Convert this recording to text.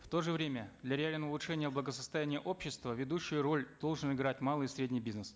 в то же время для реального улучшения благосостояния общества ведущую роль должен играть малый и средний бизнес